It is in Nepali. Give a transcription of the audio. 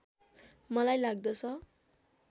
मलाई लाग्दछ